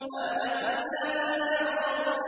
مَا لَكُمْ لَا تَنَاصَرُونَ